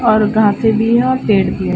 और घासें भी हैं और पेड़ भी है।